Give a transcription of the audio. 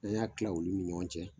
N'an y'a kila olu ni ɲɔgɔn cɛ.